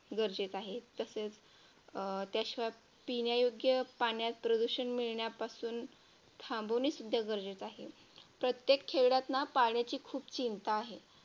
गरजेचे आहे. तसेच पिण्यायोग्य पाण्यात प्रदूषण मिळण्यापासून थांबवणे सुद्धा गरजेचे आहे प्रत्येक खेड्यात ना पाण्याची खूप चिंता आहे.